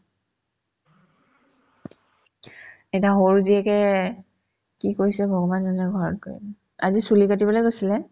এইদিনা সৰু জীয়েকে কি কৈছে ভগৱান জানে ঘৰত গৈ কিনে আজি চুলি কাটিবলে গৈছিলে